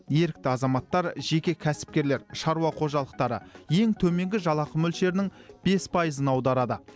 ерікті азаматтар жеке кәсіпкерлер шаруа қожалықтары ең төменгі жалақы мөлшерінің бес пайызын аударады